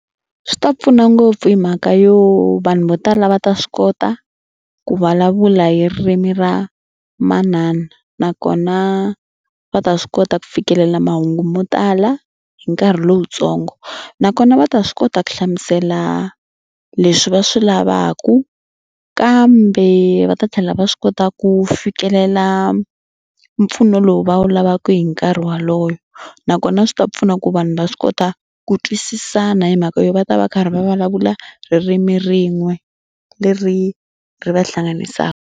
Swi ta pfuna ngopfu hi mhaka yo vanhu vo tala va ta swi kota ku vulavula hi ririmi ra manana nakona va ta swi kota ku fikelela mahungu mo tala hi nkarhi lowutsongo nakona va ta swi kota ku hlamusela leswi va swi lavaka kambe va ta tlhela va swi kota ku fikelela mpfuno lowu va wu lavaka hi nkarhi walowo nakona swi ta pfuna ku vanhu va swi kota ku twisisana hi mhaka yo va ta va karhi va vulavula ririmi rin'we leri ri va hlanganisaka.